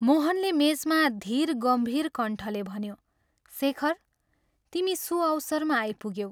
मोहनले मेचमा धीर गम्भीर कण्ठले भन्यो, "शेखर, तिमी सुअवसरमा आइपुग्यौ।